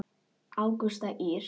Ágústa Ýr.